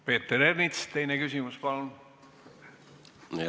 Peeter Ernits, teine küsimus palun!